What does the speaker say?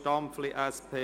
Stampfli/SP: